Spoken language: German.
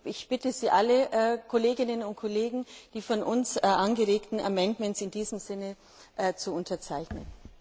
Ich bitte Sie alle, Kolleginnen und Kollegen, die von uns angeregten Änderungsanträge in diesem Sinne zu unterzeichnen.